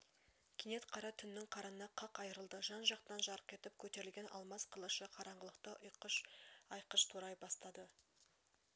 кенет қара түннің қарыны қақ айрылды жан-жақтан жарқ етіп көтерілген алмас қылышы қараңғылықты айқыш-ұйқыш турай бастады